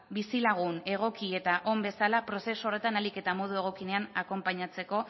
bizilagun egoki eta on bezala prozesu horretan ahalik eta modu egokienean akonpainatzeko